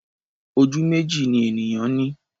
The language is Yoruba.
Ojú méjì ni ènìyàn ní.